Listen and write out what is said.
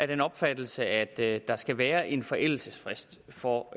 den opfattelse at der skal være en forældelsesfrist for